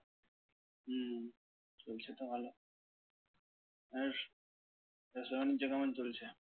হুম চলছে তো ভালো। আর ব্যবসা-বাণিজ্য কেমন চলছে?